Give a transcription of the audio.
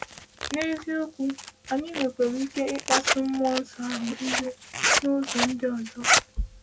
N’eziokwu, anyị nwekwara ike ịkpasu mmụọ ahụ iwe n’ụzọ ndị ọzọ.